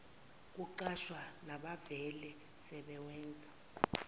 kuqashwa nabavele sebewenza